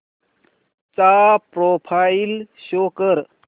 चा profile show कर